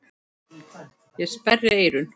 Ég sperri eyrun.